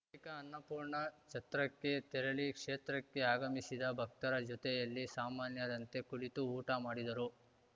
ಬಳಿಕ ಅನ್ನಪೂರ್ಣ ಛತ್ರಕ್ಕೆ ತೆರಳಿ ಕ್ಷೇತ್ರಕ್ಕೆ ಅಗಮಿಸಿದ ಭಕ್ತರ ಜೊತೆಯಲ್ಲಿ ಸಾಮಾನ್ಯರಂತೆ ಕುಳಿತು ಊಟ ಮಾಡಿದರು